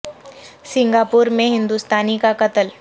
سنگا پو ر میں ہند و ستا نی کا قتل